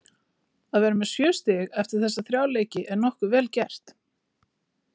Að vera með sjö stig eftir þessa þrjá leiki er nokkuð vel gert.